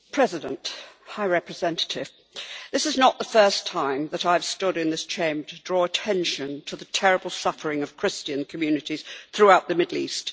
Mr President, Madam High Representative, this is not the first time that I have stood in this Chamber to draw attention to the terrible suffering of Christian communities throughout the Middle East.